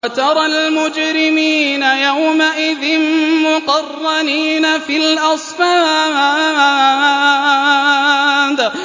وَتَرَى الْمُجْرِمِينَ يَوْمَئِذٍ مُّقَرَّنِينَ فِي الْأَصْفَادِ